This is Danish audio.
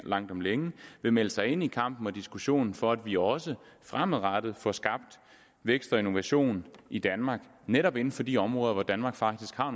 langt om længe vil melde sig ind i kampen og diskussionen for at vi også fremadrettet får skabt vækst og innovation i danmark netop inden for de områder hvor danmark faktisk har